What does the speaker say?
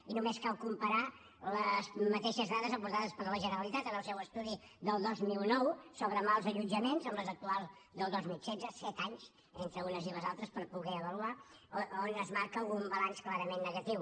i només cal comparar les mateixes dades aportades per la generalitat en el seu estudi del dos mil nou sobre mals allotjaments amb les actuals del dos mil setze set anys entre unes i les altres per poder ho avaluar a on es marca un balanç clarament negatiu